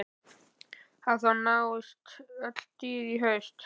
Hafþór: Nást öll dýr í haust?